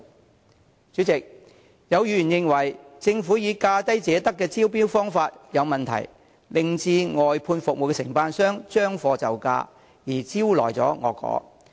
代理主席，有議員認為政府以"價低者得"的原則進行招標有問題，令外判服務承辦商"將貨就價"而招來惡果。